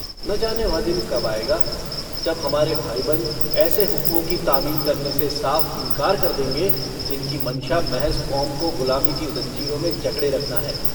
न जाने वह दिन कब आएगा जब हम हमारे भाई-बन्द ऐसे हुक्मों की तामील करने से साफ़ इन्कार कर देंगे जिनकी मंशा महज़ कौम को गुलामी की ज़ंजीरों में जकड़े रखना है।